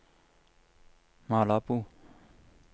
Malabo